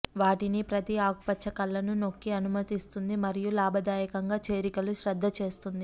వాటిని ప్రతి ఆకుపచ్చ కళ్లను నొక్కి అనుమతిస్తుంది మరియు లాభదాయకంగా చేరికలు శ్రద్ద చేస్తుంది